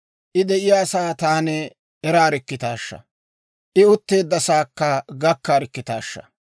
I de'iyaasaa taani eraarikkitaashsha! I utteeddasaakka gakkarikkitaashsha!